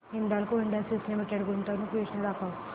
Hindalco industries limited गुंतवणूक योजना दाखव